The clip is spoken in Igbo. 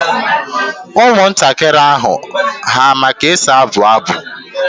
Ụmụntakịrị ahu ama ka e si abụ abụ?